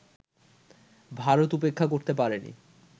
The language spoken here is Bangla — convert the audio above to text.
ভারত উপেক্ষা করতে পারেনি